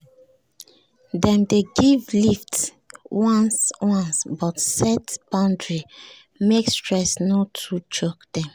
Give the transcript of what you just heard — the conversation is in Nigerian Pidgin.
dem dey give lift once once but set boundary make stress no too choke dem